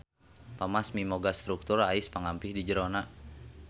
Pamass miboga struktur ais pangampih di jerona.